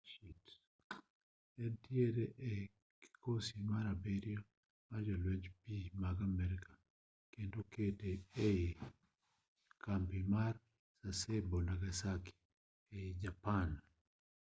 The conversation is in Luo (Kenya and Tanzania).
entiere ga e kikosi mar abiryo mar jolwenj pi mag amerka kendo okete ga e kambi ma sasebo nagasaki ei japan